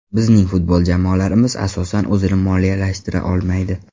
Bizning futbol jamoalarimiz, asosan, o‘zini moliyalashtira olmaydi.